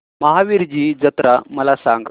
महावीरजी जत्रा मला सांग